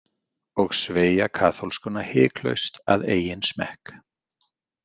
Og sveigja kaþólskuna hiklaust að eigin smekk.